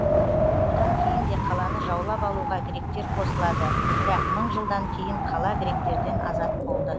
одан кейін де қаланы жаулап алуға гректер қосылады бірақ мың жылдан кейін қала гректерден азат болды